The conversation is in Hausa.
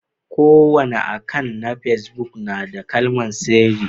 Kowani akan'na pesbuk na da kalmar sirri.